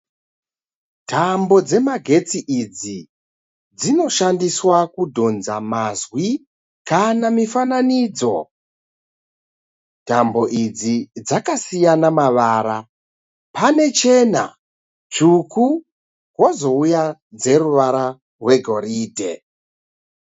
Tambo dzemagetsi idzi dzinoshandiswa kudhonza mazwi kana mifananidzo. Tambo idzi dzakasiyana mavara. Pane chena, tsvuku pozouya dzeruvara rwegoridhe.